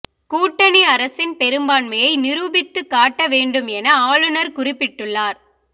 கூட்டணி அரசின் பெரும்பான்மையை நிரூபித்து காட்ட வேண்டும் என ஆளுநர் குறிப்பிட்டுள்ளார்